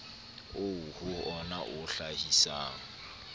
oo ho wona o hlahisang